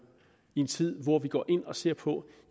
i en tid hvor vi går ind og ser på